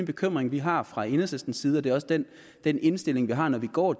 bekymring vi har fra enhedslistens side og det er også den den indstilling vi har når vi går